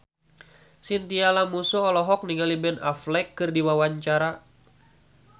Chintya Lamusu olohok ningali Ben Affleck keur diwawancara